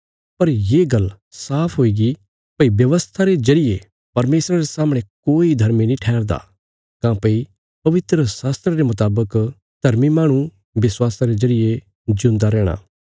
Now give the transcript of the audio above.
पर ये गल्ल साफ हुईगी भई व्यवस्था रे जरिये परमेशरा रे सामणे कोई धर्मी नीं ठैहरदा काँह्भई पवित्रशास्त्रा रे मुतावक धर्मी माहणु विश्वासा रे जरिये जिऊंदा रैहणा